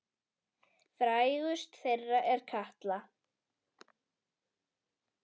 Frægust þeirra er Katla.